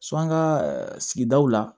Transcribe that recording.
an ka sigidaw la